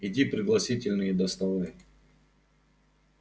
иди пригласительные доставай